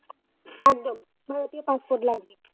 একদম ভারতীয় passport লাগবে।